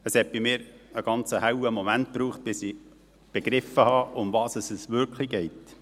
Es brauchte bei mir einen ganz hellen Moment, bis ich begriff, worum es wirklich geht.